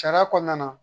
Sariya kɔnɔna na